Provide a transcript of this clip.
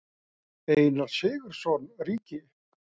Einar Sigurðsson ríki.